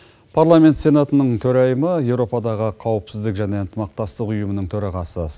парламент сенатының төрайымы еуропадағы қауіпсіздік және ынтымақтастық ұйымының төрағасы